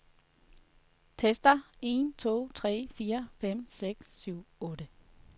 Tester en to tre fire fem seks syv otte.